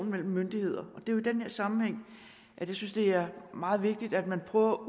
mellem myndigheder og det er i den her sammenhæng jeg synes det er meget vigtigt at man prøver at